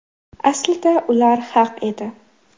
Aslida ular haq edi.